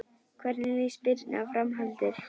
Hvernig líst Birnu á framhaldið?